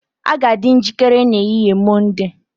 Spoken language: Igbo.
A ga-adị njikere n'ehihie Mọnde